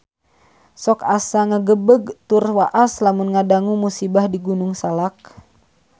Sok asa ngagebeg tur waas lamun ngadangu musibah di Gunung Salak